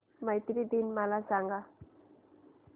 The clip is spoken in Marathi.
मैत्री दिन मला सांगा